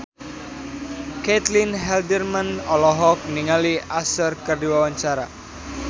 Caitlin Halderman olohok ningali Usher keur diwawancara